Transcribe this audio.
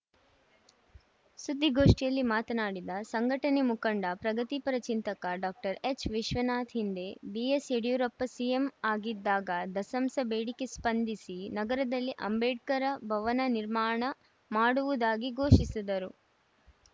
ಸುದ್ದಿಗೋಷ್ಠಿಯಲ್ಲಿ ಮಾತನಾಡಿದ ಸಂಘಟನೆ ಮುಖಂಡ ಪ್ರಗತಿಪರ ಚಿಂತಕ ಡಾಕ್ಟರ್ ಎಚ್‌ವಿಶ್ವನಾಥ್‌ ಹಿಂದೆ ಬಿಎಸ್‌ಯಡಿಯೂರಪ್ಪ ಸಿಎಂ ಆಗಿದ್ದಾಗ ದಸಂಸ ಬೇಡಿಕೆಗೆ ಸ್ಪಂದಿಸಿ ನಗರದಲ್ಲಿ ಅಂಬೇಡ್ಕರ್‌ ಭವನ ನಿರ್ಮಾಣ ಮಾಡುವುದಾಗಿ ಘೋಷಿಸಿದ್ದರು